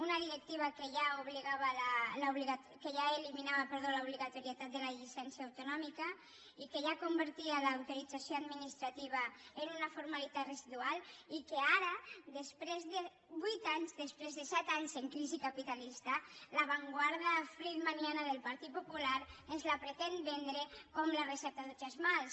una directiva que ja eliminava l’obligatorietat de la llicència autonòmica i que ja convertia l’autorització administrativa en una formalitat residual i que ara després de vuit anys després de set anys en crisi capitalista l’avantguarda friedmaniana del partit popular ens la pretén vendre com la recepta de tots els mals